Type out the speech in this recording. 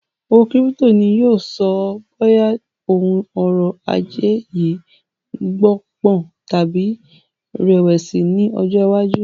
Owó kírípítò ni yìí ó sọ bóyá òun ọ̀rọ̀ ajé yìí gbó pọ̀n tàbí rẹ̀wẹ̀sì ni ọjọ́ iwájú